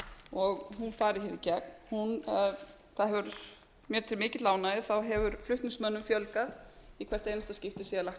og hún fari hér í gegn mér til mikillar ánægju hefur flutningsmönnum fjölgað í hvert einasta skipti sem